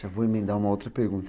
Já vou emendar uma outra pergunta.